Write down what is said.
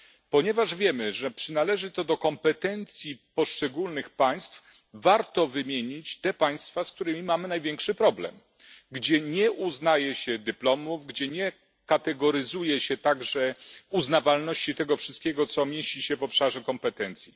Ponieważ wiemy, że przynależy to do kompetencji poszczególnych państw, warto wymienić te państwa, z którymi mamy największy problem, gdzie nie uznaje się dyplomów, gdzie nie kategoryzuje się także uznawalności tego wszystkiego, co mieści się w obszarze kompetencji.